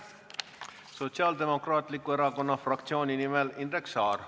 Sotsiaaldemokraatliku Erakonna fraktsiooni nimel Indrek Saar.